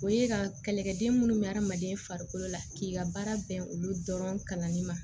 O ye ka kɛlɛkɛden munnu bɛ adamaden farikolo la k'i ka baara bɛn olu dɔrɔn kalanni ma